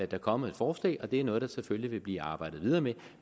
der kommet et forslag og det er noget der selvfølgelig vil blive arbejdet videre med